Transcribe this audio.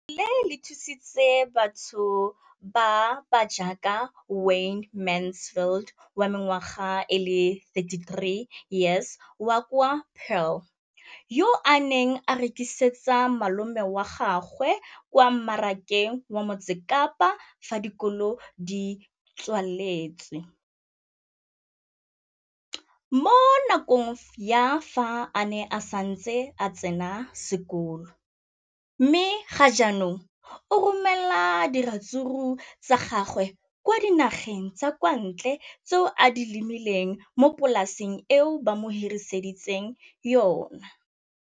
leno le thusitse batho ba ba jaaka Wayne Mansfield, 33, wa kwa Paarl, yo a neng a rekisetsa malomagwe kwa Marakeng wa Motsekapa fa dikolo di tswaletse, mo nakong ya fa a ne a santse a tsena sekolo, mme ga jaanong o romela diratsuru tsa gagwe kwa dinageng tsa kwa ntle tseo a di lemileng mo polaseng eo ba mo hiriseditseng yona.